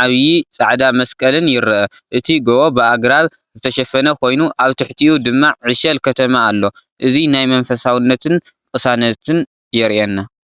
ዓቢ ጻዕዳ መስቀልን ይርአ። እቲ ጎቦ ብኣግራብ ዝተሸፈነ ኮይኑ ኣብ ትሕቲኡ ድማ ዕሸል ከተማ ኣሎ። እዚ ናይ መንፈሳውነትን ቅሳነትን የርኤና።